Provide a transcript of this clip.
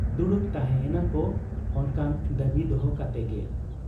ᱫᱩᱲᱩᱵ ᱛᱟᱦᱮᱸ ᱮᱱᱟ ᱠᱚ ᱚᱱᱠᱟᱱ ᱫᱟᱹᱵᱤ ᱫᱚᱦᱚ ᱠᱟᱛᱮ ᱜᱮ ᱾